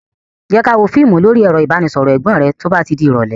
Jé ká wò fíìmù lórí ẹ̀rọ ìbánisọọ̀rọ̀ Ẹ̀gbọ́n rẹ to bá ti di irọ̀lẹ́